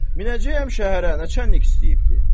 Minəcəyəm şəhərə, nəçənik istəyibdir.